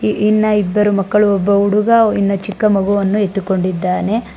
E ಇನ್ನ ಇಬ್ಬರು ಮಕ್ಕಳು ಒಬ್ಬ ಹುಡುಗ ಇನ್ನ ಚಿಕ್ಕ ಮಗುವನ್ನು ಎತ್ತಿಕೊಂಡಿದ್ದಾನೆ.